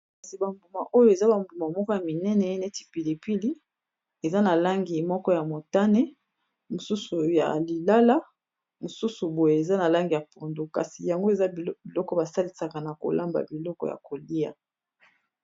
Kasi ba mbuma oyo eza ba mbuma moko ya minene neti pilipili eza na langi moko ya motane mosusu ya lilala mosusu boye eza na langi ya pondu kasi yango eza biloko basalisaka na kolamba biloko ya kolia.